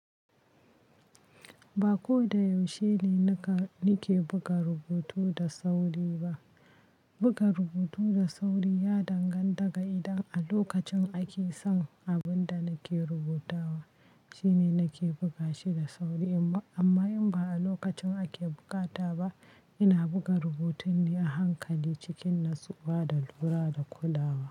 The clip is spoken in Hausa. Ba ko da yaushe ne naka nake buga rubutu da sauri ba. Buga rubutu da sauri ya danganta ga idan a lokacin ake son abin da nake rubutawa, shine nake buga shi da sauri. Amma in ba a lokacin ake bukata ba, ina buga rubutun ne a hankali cikin natsuwa da lura da kulawa.